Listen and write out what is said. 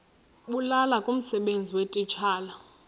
bulula kumsebenzi weetitshala